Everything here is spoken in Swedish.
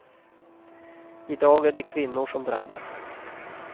I dag är det kvinnor som drabbas.